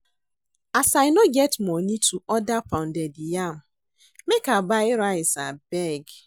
As I no get moni to order pounded yam, make I buy rice abeg.